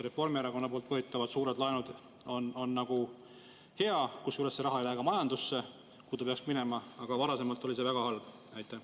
Reformierakonna võetavad suured laenud on nagu hea, kusjuures see raha ei lähe ka majandusse, kuhu ta peaks minema, aga varasemalt oli see väga halb?